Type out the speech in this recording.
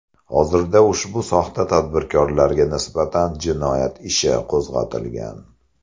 Hozirda ushbu soxta tadbirkorlarga nisbatan jinoyat ishi qo‘zg‘atilgan.